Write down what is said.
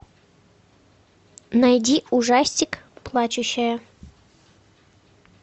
найди ужастик плачущая